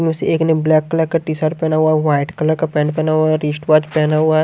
में से एक ने ब्लैक कलर का टी शर्ट पहना हुआ है वाइट कलर का पेंट पहना हुआ है रिशट वाच पहना हुआ है।